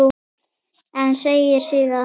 En segir síðan